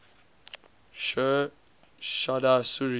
sher shah suri